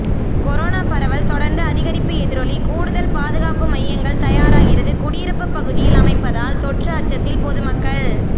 corona பரவல் தொடர்ந்து அதிகரிப்பு எதிரொலி கூடுதல் பாதுகாப்பு மையங்கள் தயாராகிறது குடியிருப்பு பகுதியில் அமைப்பதால் தொற்று அச்சத்தில் பொதுமக்கள்